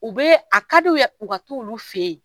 O bɛ a kadi u ye u ka t'olu fɛ yen.